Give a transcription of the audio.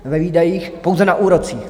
Ve výdajích pouze na úrocích.